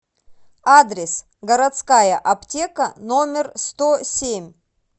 адрес городская аптека номер сто семь